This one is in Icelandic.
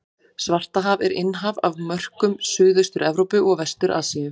Svartahaf er innhaf á mörkum Suðaustur-Evrópu og Vestur-Asíu.